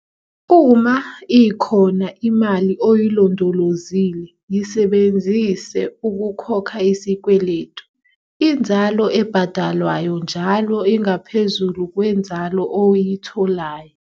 Uma ikhona imali oyilondolozile yisebenzise ukukhokha isikweletu - inzalo ebhadalwayo njalo ingaphezulu kwenzalo oyitholayo.